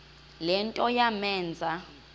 le nto yamenza